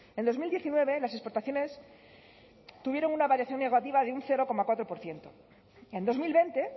en dos mil diecinueve las exportaciones tuvieron una variación negativa de un cero coma cuatro por ciento en dos mil veinte